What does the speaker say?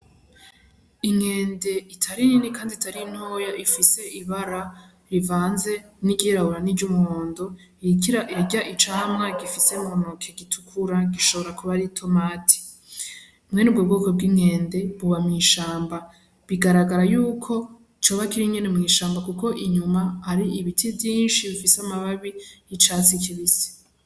Inkende itari nini kandi itari ntoya, ifise ibara rivanze iry'irabura niry'umuhondo, iriko irarya icamwa, igifise muntoke gitukura gishobora kuba ari itomati, mwenubwo bwoko bw'inkende buba mw'ishamba bigaragara yuko coba kiri nyene mw'ishamba, kuko inyuma hari ibiti vyinshi bifise amababi y'icatsi kibisi.